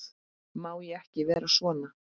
Má ég ekki vera svona?